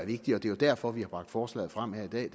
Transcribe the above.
vigtigt og det er derfor vi har bragt forslaget frem her i dag